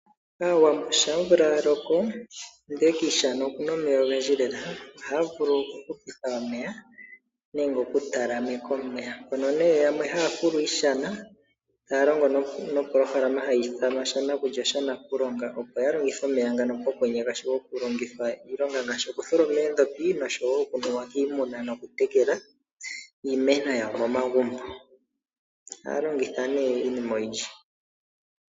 Aawambo shaa omvula ya loko, ndee kiishana oku na omeya ogendji lela, oha ya vulu oku fula iishana , ta ya longo nopolohalama ya shanakulya osha nakulonga opo fa longithe omeya ngano pokwenye, ngaashi oku tholoma eendjopi, oku yekela iimeno yawo momagumbo.